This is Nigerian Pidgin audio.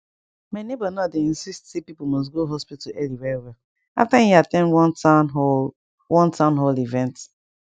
my neighbor now dey insist say people must go hospital early well well after e at ten d one town hall one town hall event